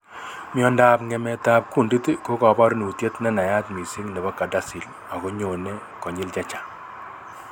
Miandab ng'emet ab kuundit ko kabarunitiet nenayat missing nebo CADASIL ago nyone konyil chechang'